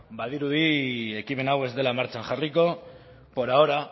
badirudi ekimen hau ez dela martxan jarriko por ahora